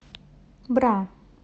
бра